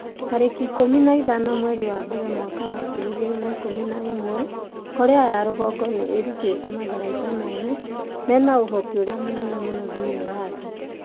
tarĩki ikũmi na ithano mweri wa mbere mwaka wa ngiri igĩrĩ na ikũmi na ĩmwe Korea ya rũgongo nĩ ĩrutĩte matharaita merũ mena ũhoti ũrĩa mũnene mũno thĩinĩ wa thĩ.'